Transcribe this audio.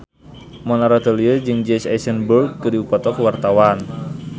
Mona Ratuliu jeung Jesse Eisenberg keur dipoto ku wartawan